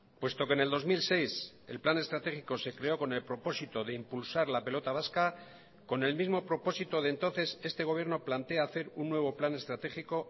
puesto que en el dos mil seis el plan estratégico se creó con el propósito de impulsar la pelota vasca con el mismo propósito de entonces este gobierno plantea hacer un nuevo plan estratégico